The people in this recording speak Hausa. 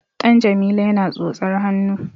Ɗan Jamila yana tsotsar hannu.